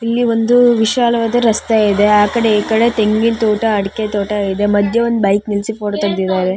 ಇಲ್ಲಿ ಒಂದು ವಿಶಾಲವಾದ ರಸ್ತೆ ಇದೆ ಆ ಕಡೆ ಈ ಕಡೆ ತೆಂಗಿನ ತೋಟ ಅಡಿಕೆ ತೋಟ ಇದೆ ಮದ್ಯ ಒಂದು ಬೈಕ್ ನಿಲ್ಸಿ ಫೋಟೋ ತೆಗೆದಿದ್ದಾರೆ.